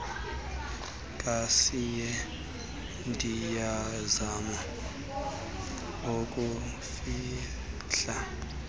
kayise ndiyazama ukuzifihla